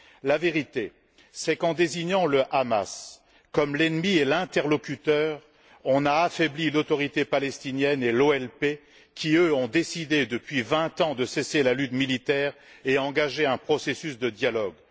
La vérité, c'est qu'en désignant le Hamas comme l'ennemi et l'interlocuteur, on a affaibli l'Autorité palestinienne et l'OLP qui, elles, ont décidé, depuis vingt ans, de cesser la lutte militaire et ont engagé un processus de dialogue.